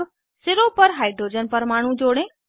अब सिरों पर हाइड्रोजन परमाणु जोड़ें